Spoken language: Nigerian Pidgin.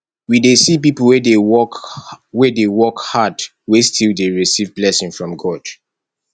we dey see pipo wey dey work wey dey work hard wey still dey receive blessing from god